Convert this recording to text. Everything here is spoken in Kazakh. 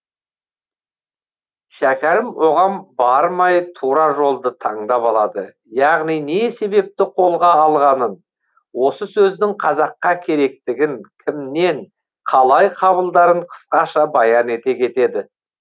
шәкәрім оған бармай тура жолды таңдап алады яғни не себепті қолға алғанын осы сөздің қазаққа керектігін кімнен қалай қабылдарын қысқаша баян ете кетеді